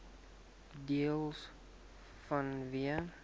deels vanweë